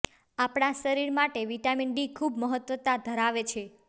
આપણા શરીર માટે વિટામીન ડી ખુબ મહત્વતા ધરાવે છે